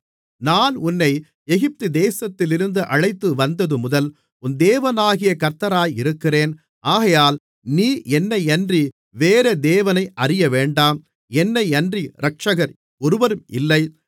நான் உன்னை எகிப்து தேசத்திலிருந்து அழைத்துவந்ததுமுதல் உன் தேவனாகிய கர்த்தராயிருக்கிறேன் ஆகையால் நீ என்னையன்றி வேறே தேவனை அறியவேண்டாம் என்னையன்றி இரட்சகர் ஒருவரும் இல்லை